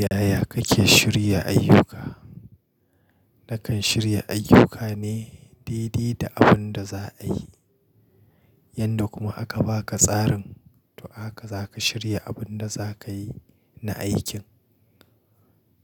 Yaya kake shirya ayyuka? Nakan shirya ayyuka ne daidai da abun da za a yi, yanda kuma aka ba ka tsarin to haka za ka shirya abun da za ka yi na aikin.